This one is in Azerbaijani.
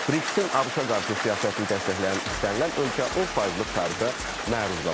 BRICS-in ABŞ-a qarşı siyasətini dəstəkləyən istənilən ölkə 10 faizlik tarifə məruz qalacaq.